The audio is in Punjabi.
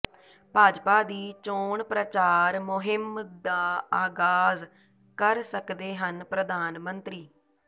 ਭਾਜਪਾ ਦੀ ਚੋਣ ਪ੍ਰਚਾਰ ਮੁਹਿੰਮ ਦਾ ਆਗ਼ਾਜ਼ ਕਰ ਸਕਦੇ ਹਨ ਪ੍ਰਧਾਨ ਮੰਤਰੀ